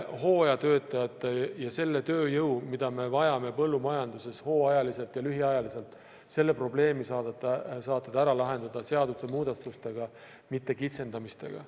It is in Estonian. Hooajatöötajate ja selle tööjõu probleemi, mida me vajame põllumajanduses hooajaliselt ja lühiajaliselt, saate te ära lahendada seaduse muudatustega, mitte kitsendamistega.